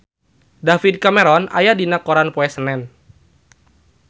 David Cameron aya dina koran poe Senen